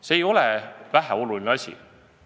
See ei ole väheoluline asi.